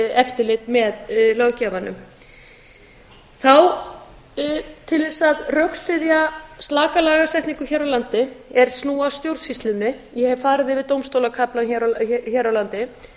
eftirlit með löggjafanum til þess að rökstyðja slaka lagasetningu hér á landi er snúi að stjórnsýslunni ég hef farið yfir dómstólakaflann hér á landi